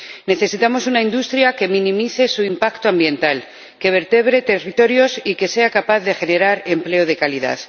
Necesitamos una industria que minimice su impacto ambiental, que vertebre territorios y que sea capaz de generar empleo de calidad.